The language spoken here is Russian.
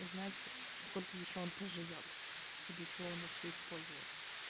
узнать сколько ещё он проживёт и для чего он вообще использовался